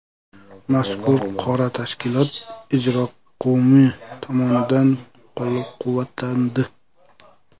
Mazkur qaror tashkilot Ijroqo‘mi tomonidan qo‘llab-quvvatlandi.